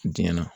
Dingɛn na